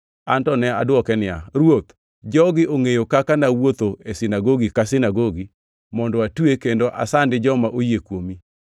“An to ne adwoke niya, ‘Ruoth, jogi ongʼeyo kaka nawuotho e sinagogi ka sinagogi mondo atwe kendo asandi joma oyie kuomi.